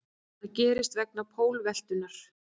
Það gerist vegna pólveltunnar.